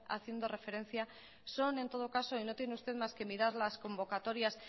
haciendo referencia son en todo caso y no tiene usted más que mirar las convocatorias